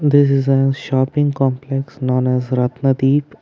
This is a shopping complex known as ratna dheep.